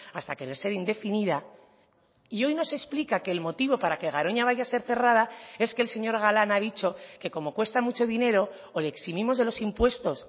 hasta que ser indefinida y hoy nos explica que el motivo para que garoña vaya a ser cerrada es que el señor galán ha dicho que como cuesta mucho dinero o le eximimos de los impuestos